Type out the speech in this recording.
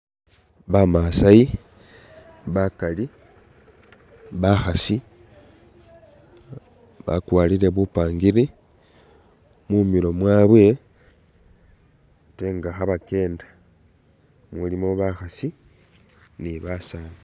Bamasai bakali bakhaasi bakwarire bupangiri mumilo mwabwe ate nga khabakenda mumulimo bakhasi ne basani